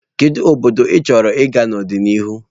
Kedu obodo ịchọrọ ịga n'ọdịnihu?